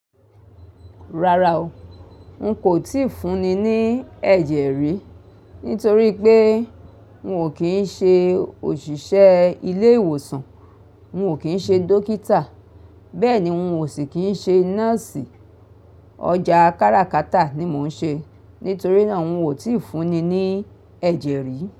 Rárá o, n kò tíì fún ni ní ẹ̀jẹ̀ rí, nítorí pé n ò kí ń ṣe òṣìṣẹ́ ilé ìwòsàn, n ò kí ń ṣe dókítà, bẹ́ẹ̀ ni n ò sì kí ń ṣe nọ́ọ̀sì. Ọjà káràkátà ni mò ń ṣe, nítorí náà n ò tíì fún ni ní ẹ̀jẹ̀ rí.